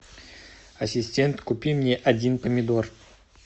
ассистент купи мне один помидор